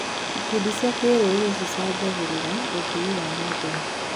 Ikundi cia kĩrũrĩrĩ cicangagĩra ũthii wa na mbere.